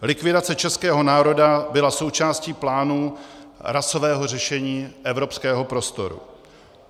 Likvidace českého národa byla součástí plánů rasového řešení evropského prostoru.